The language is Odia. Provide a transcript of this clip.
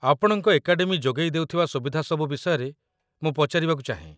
ଆପଣଙ୍କ ଏକାଡେମୀ ଯୋଗେଇ ଦେଉଥିବା ସୁବିଧା ସବୁ ବିଷୟରେ ମୁଁ ପଚାରିବାକୁ ଚାହେଁ